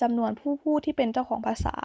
จำนวนผู้พูดที่เป็นเจ้าของภาษา